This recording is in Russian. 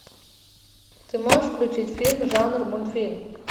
ты можешь включить фильм жанр мультфильм